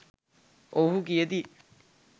ඔවුහු කියති